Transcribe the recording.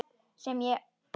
Sem ég og gerði.